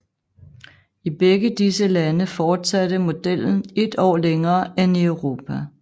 I begge disse lande fortsatte modellen et år længere end i Europa